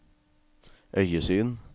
øyesyn